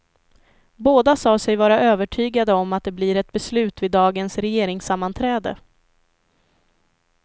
Båda sa sig vara övertygade om att det blir ett beslut vid dagens regeringssammanträde.